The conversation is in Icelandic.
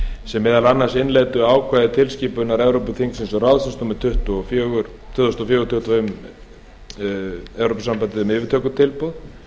sem meðal annars innleiddu ákvæði tilskipunar evrópuþingsins og ráðsins númer tvö þúsund og fjögur tuttugu og fimm e b um yfirtökutilboð